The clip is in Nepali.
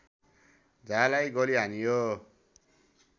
झालाई गोली हानियो